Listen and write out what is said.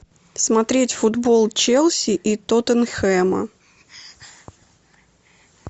смотреть футбол челси и тоттенхэма